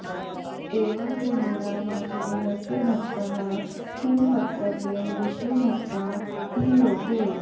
एवं विमूढा वासुदेवस्य भक्ताः किं वक्तव्यं विष्णुभक्ता हि लोके